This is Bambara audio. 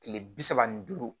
Kile bi saba ni duuru